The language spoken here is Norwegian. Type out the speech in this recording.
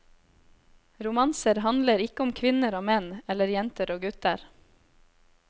Romanser handler ikke om kvinner og menn eller jenter og gutter.